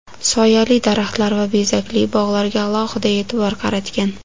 soyali daraxtlar va bezakli bog‘larga alohida e’tibor qaratgan.